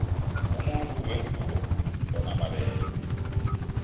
umuntu wengubo unomabele